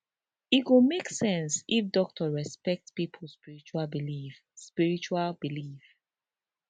e go make sense if doctor respect pipo spiritual belief spiritual belief